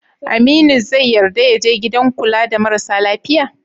Aminu zai yarda ya je gidan kula da marasa lafiya?